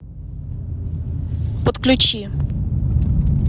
подключи